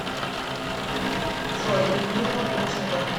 джой людмила гурченко